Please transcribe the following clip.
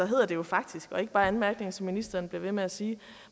hedder det jo faktisk og ikke bare anmærkninger som ministeren bliver ved med at sige